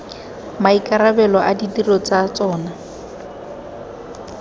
maikarabelo a ditiro tsa tsona